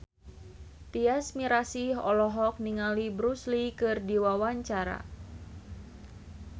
Tyas Mirasih olohok ningali Bruce Lee keur diwawancara